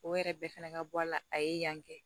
O yɛrɛ bɛɛ fana ka bɔ a la a ye yan kɛ